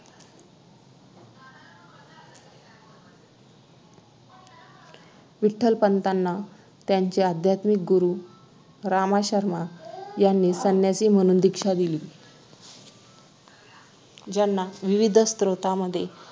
विठ्ठलपंतांना त्यांचे आध्यात्मिक गुरु रामा शर्मा यांनी संन्यासी म्हणून दीक्षा दिली ज्यांना विविध स्रोतांमध्ये